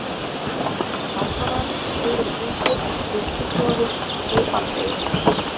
Langavað, Syðri-Húshóll, Ystiklofi, Heybandseyri